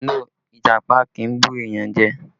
No, Ìjàpá kì í bu èèyàn jẹ